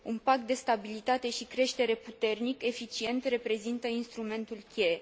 Un pact de stabilitate și creștere puternic, eficient reprezintă instrumentul cheie.